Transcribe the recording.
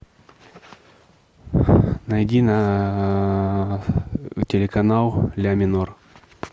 найди на телеканал ля минор